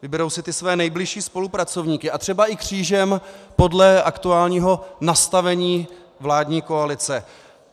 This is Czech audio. Vyberou si ty své nejbližší spolupracovníky a třeba i křížem podle aktuálního nastavení vládní koalice.